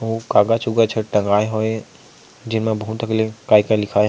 अउ कागज़ उगज ह टंगाये हवे जेमा बहुत अकन ले काय-काय लिखाय--